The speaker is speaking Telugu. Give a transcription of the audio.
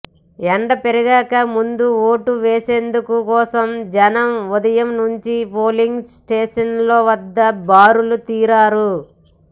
ఎండ పెరగక ముందే ఓటు వేసేందు కోసం జనం ఉదయం నుంచే పోలింగ్ స్టేషన్ల వద్ద బారులు తీరారు